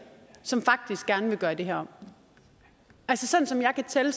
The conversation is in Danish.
som faktisk gerne vil gøre det her om altså sådan som jeg kan tælle